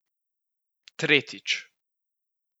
Tretjič.